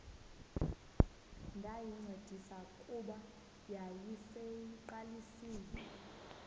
ndayincedisa kuba yayiseyiqalisile